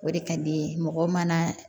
O de ka di n ye mɔgɔ mana